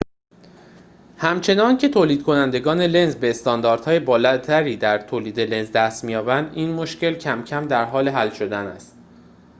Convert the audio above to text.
همچنان‌که تولیدکنندگان لنز به استانداردهای بالاتری در تولید لنز دست می‌یابند این مشکل کم‌کم در حال حل شدن است